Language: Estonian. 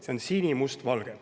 See on sinimustvalge.